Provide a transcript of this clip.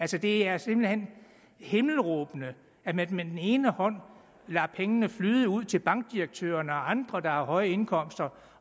det er simpelt hen himmelråbende at man med den ene hånd lader pengene flyde ud til bankdirektørerne og andre der har høje indkomster